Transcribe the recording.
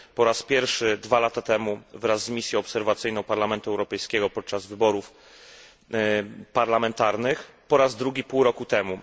Po raz pierwszy dwa lata temu wraz z misją obserwacyjną Parlamentu Europejskiego podczas wyborów parlamentarnych, po raz drugi pół roku temu.